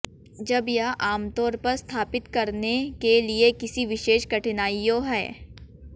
जब यह आम तौर पर स्थापित करने के लिए किसी विशेष कठिनाइयों है